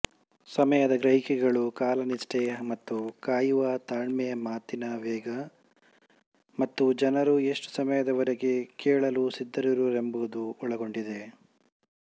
ಸಮಯದ ಗ್ರಹಿಕೆಗಳು ಕಾಲನಿಷ್ಠೆ ಮತ್ತು ಕಾಯುವ ತಾಳ್ಮೆಮಾತಿನ ವೇಗ ಮತ್ತು ಜನರು ಎಷ್ಟು ಸಮಯದವರೆಗೆ ಕೇಳಲು ಸಿದ್ಧರಿರುವರೆಂಬುದನ್ನು ಒಳಗೊಂಡಿವೆ